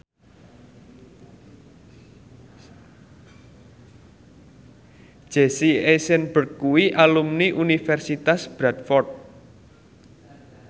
Jesse Eisenberg kuwi alumni Universitas Bradford